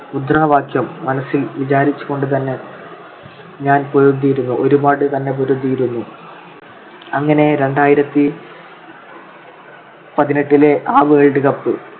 മുദ്രാവാക്യം മനസ്സിൽ വിചാരിച്ചുകൊണ്ടു തന്നെ ഞാൻ പൊരുതിയിരുന്നു, ഒരുപാട് തന്നെ പൊരുതിയിരുന്നു. അങ്ങനെ രണ്ടായിരത്തി പതിനെട്ടിലെ ആ world cup